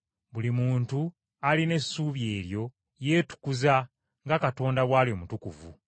Buli muntu alina essuubi eryo yeetukuza nga Katonda bw’ali omutukuvu.